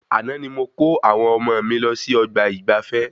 Àna ni mo ko àwọn ọmọ mí lọ sí ọgbà ìgbafé